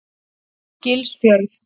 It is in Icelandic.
Gilsfjörð